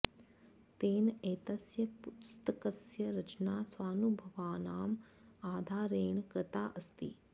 तेन एतस्य पुस्तकस्य रचना स्वानुभवानाम् आधारेण कृता अस्ति